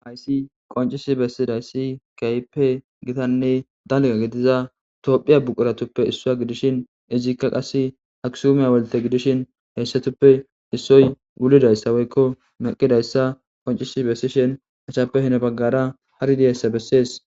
Hayissi qonc,isi besidayisi gitanne dalga gidiza tophiya buquratuppe isuwa gidishin izika qase aksume hawulte gidishin hesatuppe isoyi wulidayisa woyiko meqidayisa qonc,isi besishe etappe honi bagara hari dizayisa beses